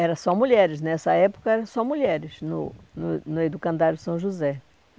Era só mulheres, nessa época era só mulheres no no no Educandário São José.